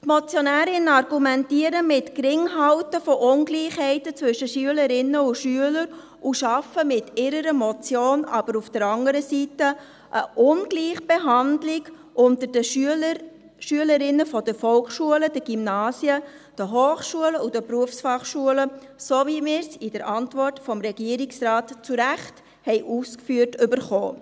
Die Motionärinnen argumentieren mit dem Geringhalten von Ungleichheiten zwischen Schülerinnen und Schülern und schaffen mit ihrer Motion aber auf der anderen Seite eine Ungleichbehandlung unter den Schülern, Schülerinnen der Volksschulen, der Gymnasien, der Hochschulen und der Berufsfachschulen, so wie uns in der Antwort des Regierungsrates zu Recht ausgeführt wurde.